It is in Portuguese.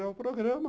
É o programa.